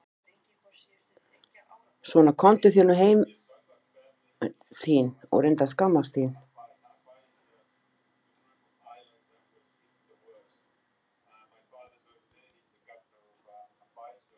Svona komdu þér nú heim þín og reyndu að skammast þín!